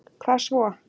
hvað svo?